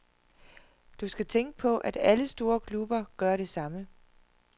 Du skal tænke på, at alle store klubber gør det samme.